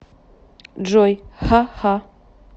джой ха ха